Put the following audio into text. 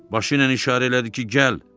Başı ilə işarə elədi ki, gəl.